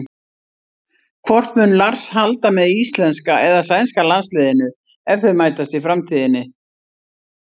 Hvort mun Lars halda með íslenska eða sænska landsliðinu ef þau mætast í framtíðinni?